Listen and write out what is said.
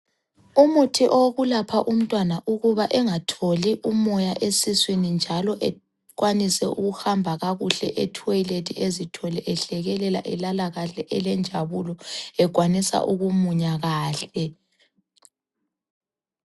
Umuthi owokulapha umtwana ukuba engatholi umoya esiswini njalo ekwanise ukuhamba kakuhle e toilet ezithole ehlekelela elala kahle elenjabulo ekwanisa ukumunya kahle.